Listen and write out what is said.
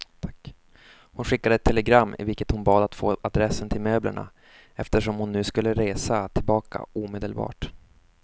Hon skickade ett telegram i vilket hon bad att få adressen till möblerna, eftersom hon nu skulle resa tillbaka omedelbart.